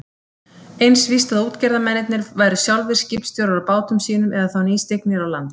Eins víst að útgerðarmennirnir væru sjálfir skipstjórar á bátum sínum eða þá nýstignir á land.